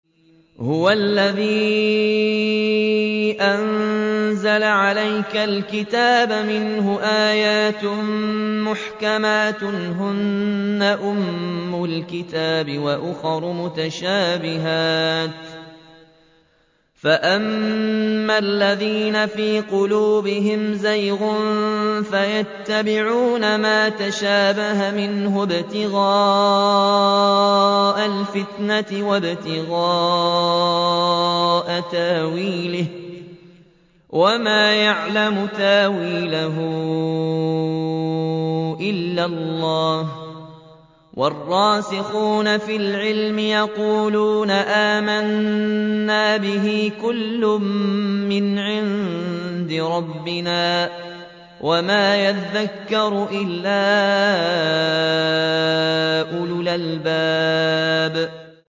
هُوَ الَّذِي أَنزَلَ عَلَيْكَ الْكِتَابَ مِنْهُ آيَاتٌ مُّحْكَمَاتٌ هُنَّ أُمُّ الْكِتَابِ وَأُخَرُ مُتَشَابِهَاتٌ ۖ فَأَمَّا الَّذِينَ فِي قُلُوبِهِمْ زَيْغٌ فَيَتَّبِعُونَ مَا تَشَابَهَ مِنْهُ ابْتِغَاءَ الْفِتْنَةِ وَابْتِغَاءَ تَأْوِيلِهِ ۗ وَمَا يَعْلَمُ تَأْوِيلَهُ إِلَّا اللَّهُ ۗ وَالرَّاسِخُونَ فِي الْعِلْمِ يَقُولُونَ آمَنَّا بِهِ كُلٌّ مِّنْ عِندِ رَبِّنَا ۗ وَمَا يَذَّكَّرُ إِلَّا أُولُو الْأَلْبَابِ